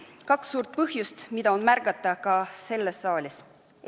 On kaks suurt põhjust, mida on märgata ka selles saalis.